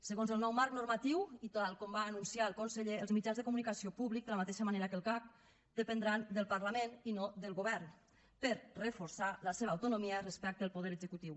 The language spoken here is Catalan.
segons el nou marc normatiu i tal com va anunciar el conseller els mitjans de comunicació públics de la mateixa manera que el cac dependran del parlament i no del govern per reforçar la seva autonomia respecte al poder executiu